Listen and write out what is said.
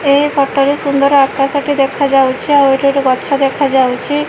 ଏହି ଫଟୋ ରେ ସୁନ୍ଦର ଆକାଶ ଟି ଦେଖା ଯାଉଅଛି ଆଉ ଏଇଟି ଗୋଟେ ଗଛ ଦେଖା ଯାଉଅଛି।